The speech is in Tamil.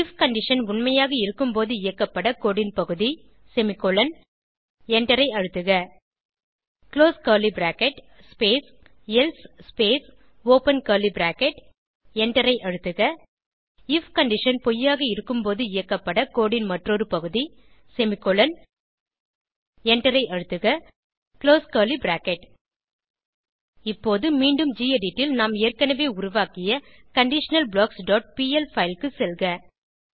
ஐஎஃப் கண்டிஷன் உண்மையாக இருக்கும்போது இயக்கப்பட கோடு ன் பகுதி செமிகோலன் எண்டரை அழுத்துக close curly bracket space else space open curly bracket எண்டரை அழுத்துக ஐஎஃப் கண்டிஷன் பொய்யாக இருக்கும்போது இயக்கப்பட கோடு ன் மற்றொரு பகுதி செமிகோலன் எண்டரை அழுத்துக குளோஸ் கர்லி பிராக்கெட் இப்போது மீண்டும் கெடிட் ல் நாம் ஏற்கனவே உருவாக்கிய conditionalblocksபிஎல் பைல் க்கு செல்க